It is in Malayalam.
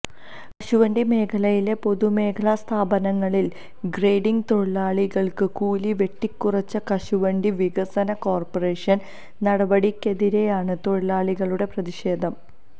കശുവണ്ടി മേഖലയിലെ പൊതുമേഖലാ സ്ഥാപനങ്ങളില് ഗ്രേഡിങ് തൊഴിലാളികള്ക്ക് കൂലി വെട്ടിക്കുറച്ച കശുവണ്ടി വികസന കോര്പ്പറേഷന് നടപടിക്കെതിരെയാണ് തൊഴിലാളികളുടെ പ്രതിഷേധം